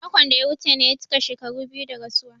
Makon da ya wuce ne ya cika shekaru biyu da rasuwa.